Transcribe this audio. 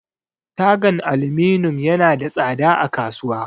Tagan aluminum yana da tsada a kasuwa.